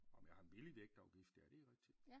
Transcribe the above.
Om jeg har en billig vægtafgift ja det er rigtig